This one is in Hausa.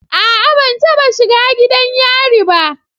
A'a ban taba shiga gidan yari ba.